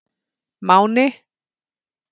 Máni